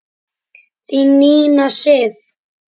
Þín Nína Sif.